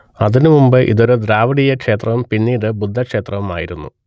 അതിനുമുൻപ് ഇതൊരു ദ്രാവിഡീയക്ഷേത്രവും പിന്നീട് ബുദ്ധക്ഷേത്രവും ആയിരുന്നു